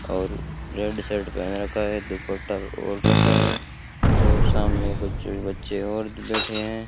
और रेड साड़ी पहन रखा है दुपट्टा ओढ़ रखा है और सामने कुछ बच्चे और बैठे है --